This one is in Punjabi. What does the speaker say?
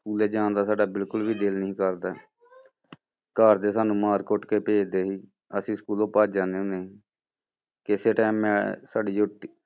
ਸਕੂਲੇ ਜਾਣਦਾ ਸਾਡਾ ਬਿਲਕੁਲ ਵੀ ਦਿਲ ਨਹੀਂ ਕਰਦਾ ਘਰਦੇ ਸਾਨੂੰ ਮਾਰ ਕੁੱਟ ਕੇ ਭੇਜਦੇ ਸੀ, ਅਸੀਂ ਸਕੂਲੋਂ ਭੱਜ ਜਾਂਦੇ ਹੁੰਦੇ, ਕਿਸੇ time ਮੈਂ ਸਾਡੀ